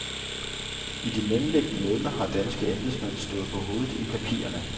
I de mellemliggende måneder har danske embedsmænd stået på hovedet i papirerne.